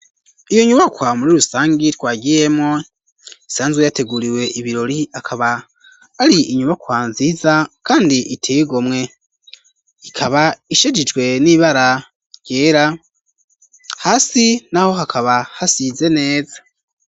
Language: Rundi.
Iyo nyubakwa muri urusangi twagiyemo isanzwe yateguriwe ibirori akaba ari inyumakwa nziza, kandi itigomwe ikaba ishijijwe n'ibara ryera hasi, naho hakaba hasize neza.